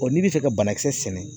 n'i bɛ fɛ ka banakisɛ sɛnɛ